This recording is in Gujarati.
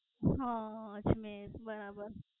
હા. અજમેર બરાબર.